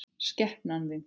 Skepnan þín!